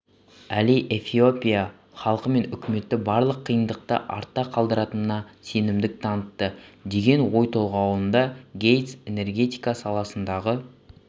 әли эфиопия халқы мен үкіметі барлық қиындықты артта қалдыратынына сенімдік танытты деген ойтолғауында гейтс энергетика саласындағы